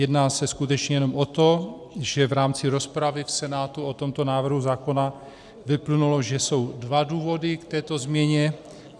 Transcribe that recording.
Jedná se skutečně jenom o to, že v rámci rozpravy v Senátu o tomto návrhu zákona vyplynulo, že jsou dva důvody k této změně.